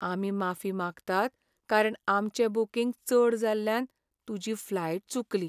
आमी माफी मागतात कारण आमचें बूकींग चड जाल्ल्यान तुजी फ्लायट चुकली